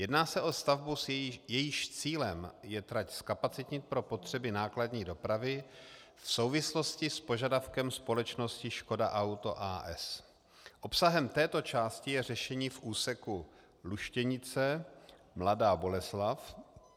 Jedná se o stavbu, jejímž cílem je trať zkapacitnit pro potřeby nákladní dopravy v souvislosti s požadavkem společnosti Škoda Auto, a. s. Obsahem této části je řešení v úseku Luštěnice - Mladá Boleslav.